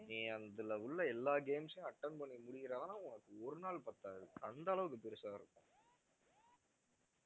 நீ அதுல உள்ள எல்லா games யும் attend பண்ணி முடிக்கிறதுன்னா உனக்கு ஒரு நாள் பத்தாது அந்த அளவுக்கு பெருசா இருக்கும்